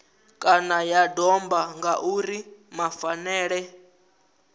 kana ya domba ngauri mafhaṱele